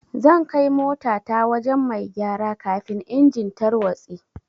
Zan kai mota ta wajen mai gyara kafin engine tarwatse.